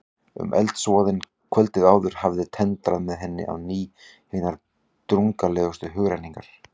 En eldsvoðinn kvöldið áður hafði tendrað með henni á ný hinar drungalegustu hugrenningar.